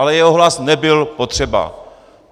Ale jeho hlas nebyl potřeba.